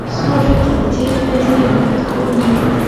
смурфики затерянная деревня открой мне